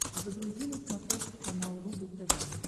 загрузи на смотрешке канал рубль тв